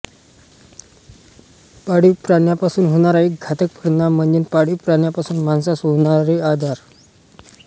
पाळीव प्राण्यापासून होणारा एक घातक परिणाम म्ह्णजे पाळीव प्राण्यापासून माणसास होणारे आजार